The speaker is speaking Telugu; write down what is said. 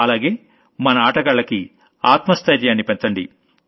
అలాగే మన ఆటగాళ్లకి ఆత్మ స్థైర్యాన్ని పెంచండి